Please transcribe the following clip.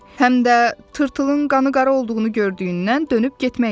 Həm də tırtılın qanı qara olduğunu gördüyündən dönüb getmək istədi.